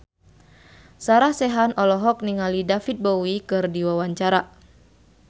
Sarah Sechan olohok ningali David Bowie keur diwawancara